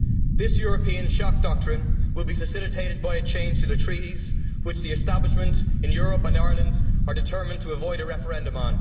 This European shock doctrine will be facilitated by a change to the Treaties, on which the establishment in Europe and Ireland are determined to avoid a referendum.